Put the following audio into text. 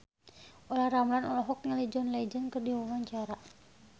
Olla Ramlan olohok ningali John Legend keur diwawancara